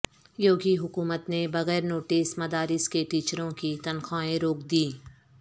یوگی حکومت نے بغیر نوٹس مدارس کے ٹیچروں کی تنخواہیں روک دیں